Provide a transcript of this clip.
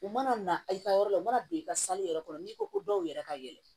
U mana na i ka yɔrɔ la u mana don i ka yɛrɛ kɔnɔ n'i ko ko dɔw yɛrɛ ka yɛlɛ